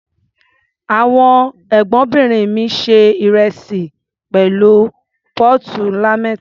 Àwọn Ẹ̀gbọ́nbìnrin mi se ìrẹsì pẹ̀lú póòtù ńlá mẹ́ta.